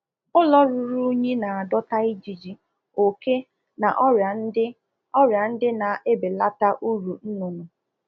Ụlọ ọzụzụ ọkụkọ ruru unyi na akpọta ijiji, oke, n'kwa ọrịa dị iche iche nke na-ewetu uru ekwesịrị inweta na ọzụzụ ọkụkọ